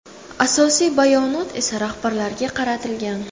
Asosiy bayonot esa rahbarlarga qaratilgan .